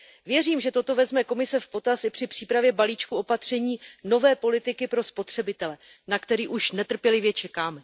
Věřím, že toto vezme Komise v potaz i při přípravě balíčku opatření nové politiky pro spotřebitele, na který už netrpělivě čekáme.